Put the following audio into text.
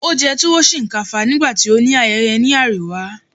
o jẹ tuwo shinkafa nigbati o ni ayeye ni ariwa